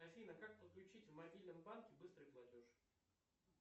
афина как подключить в мобильном банке быстрый платеж